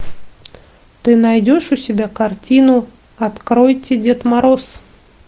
ты найдешь у себя картину откройте дед мороз